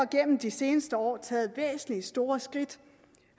gennem de seneste år taget væsentlige og store skridt